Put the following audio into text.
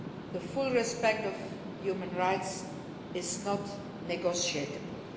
The full respect of human rights is not negotiable.